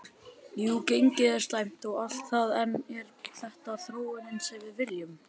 Jú gengið er slæmt og allt það en er þetta þróunin sem við viljum?